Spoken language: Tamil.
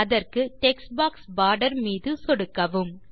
அதற்கு டெக்ஸ்ட் பாக்ஸ் போர்டர் மீது சொடுக்கவும்